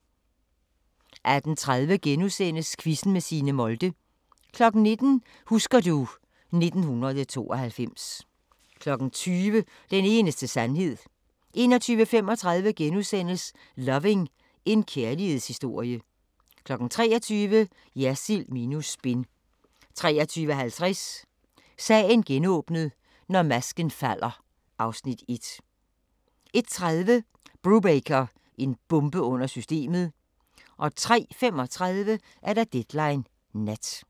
18:30: Quizzen med Signe Molde * 19:00: Husker du ... 1992 20:00: Den eneste sandhed 21:35: Loving – en kærlighedshistorie * 23:00: Jersild minus spin 23:50: Sagen genåbnet: Når masken falder (Afs. 1) 01:30: Brubaker – en bombe under systemet 03:35: Deadline Nat